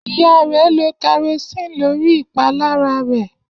Iya rẹ lo kerosene lori ipalara rẹ.